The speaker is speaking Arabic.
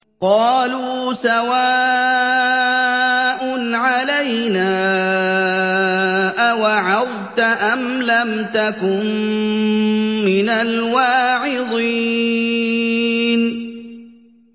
قَالُوا سَوَاءٌ عَلَيْنَا أَوَعَظْتَ أَمْ لَمْ تَكُن مِّنَ الْوَاعِظِينَ